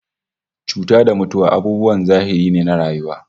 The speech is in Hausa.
Cuta da mutuwa abubuwan zahiri ne na rayuwa